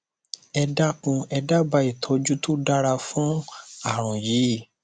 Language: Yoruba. ẹ dákun ẹ dábàá ìtọjú tó dára fún ààrùn yìí